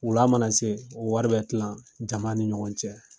Wula mana se, o wɔri bɛ tila jama ni ɲɔgɔn cɛ.